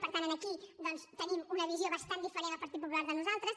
per tant aquí doncs té una visió bastant diferent el partit popular de nosaltres